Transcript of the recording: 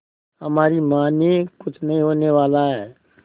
हमारी मानिए कुछ नहीं होने वाला है